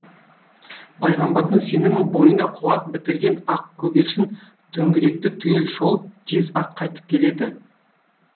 пайғамбардың сенімі бойына қуат бітірген ақ көгершін төңіректі түгел шолып тез ақ қайтып келеді